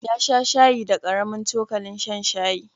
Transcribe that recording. Ya sha shayi da ƙaramin cokalin shan shayi.